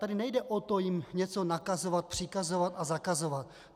Tady nejde o to jim něco nakazovat, přikazovat a zakazovat.